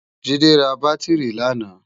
Jide rá bàtirí làná